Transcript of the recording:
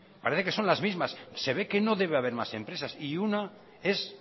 parece que son las mismas se ve que no debe haber más empresas y una es